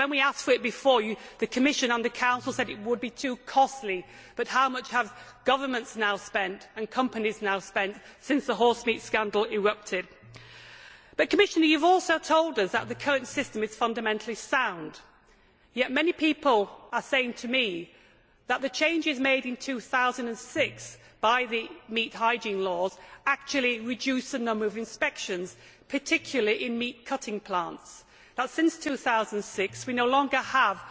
When we asked for this before, the Commission and the Council said it would be too costly but how much have governments now spent and companies now spent since the horsemeat scandal erupted? Commissioner, you have also told us that the current system is fundamentally sound, yet many people are saying to me that the changes made in 2006 by the meat hygiene laws actually reduce the number of inspections, particularly in meat cutting plants, and that since 2006 we no longer